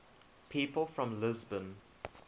people from lisbon